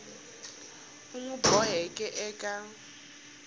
u n wi boxeke eka